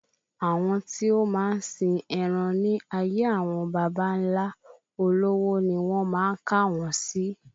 Àwọn tí o máa ń sìn eran ní ayé àwọn bàbá nlá, olówó ni won máa kà wọn si